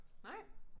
Nej?